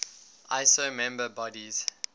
iso member bodies